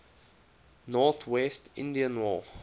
northwest indian war